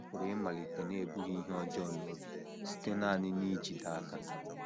Ọ pụrụ ịmalite n’ebughị ihe ọjọọ n’obi, site nanị n’ijide aka.